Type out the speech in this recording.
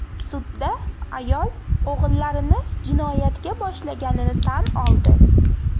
Sudda ayol o‘g‘illarini jinoyatga boshlaganini tan oldi.